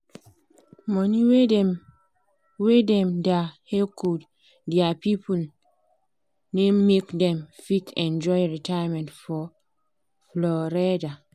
money wey dem wey dem da hecho dia people naim make dem fit enjoy retirement for florida